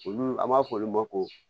Olu an b'a fɔ olu ma ko